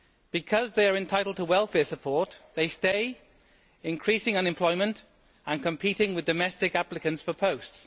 Because they are entitled to welfare support, they stay, increasing unemployment and competing with domestic applicants for posts.